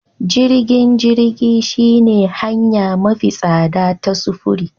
Jirgin jirgi shine hanya mafi tsada ta sufuri